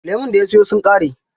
Lemun da ya siyo sun ƙare.